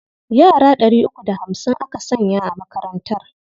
Yara ɗari uku da hamsin aka sanya a makarantar.